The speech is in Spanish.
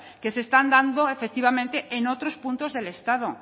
que se están dando en otros puntos del estado